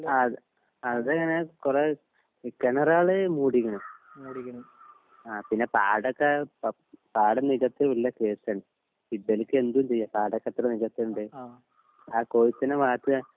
അതെ അതെങ്ങനെ കൊറേ ഈ കേണറാൾ മൂടിക്ക്ണ് ആ പിന്നെ പാടക്കെ പ പാടം നികത്തി വല്യേ കേസാണ് ഇബൽക്ക് എന്തും ചെയ്യാ പാടൊക്കെ എത്ര നികത്തിണ്ട് ആ കൊഴുപ്പിന് മാത്രാ